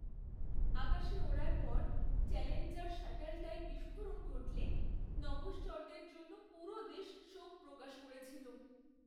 আকাশে ওড়ার পর চ্যালেঞ্জার শাটলটায় বিস্ফোরণ ঘটলে নভশ্চরদের জন্য পুরো দেশ শোক প্রকাশ করেছিল।